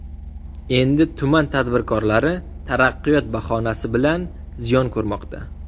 Endi tuman tadbirkorlari ‘taraqqiyot’ bahonasi bilan ziyon ko‘rmoqda.